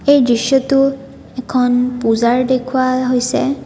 এই দৃশ্যটোত এখন পূজাৰ দেখুওৱা হৈছে।